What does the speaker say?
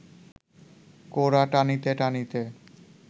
কোড়া টানিতে টানিতে